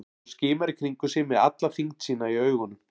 Hún skimar í kringum sig með alla þyngd sína í augunum.